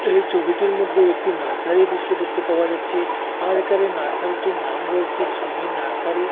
এই চবিটির মদ্যে একটি নার্সারির দৃশ্য দেখতে পাওয়া যাচ্ছে আর এখানে নার্সারিটির নাম রয়েচে সুমির নার্সারি ।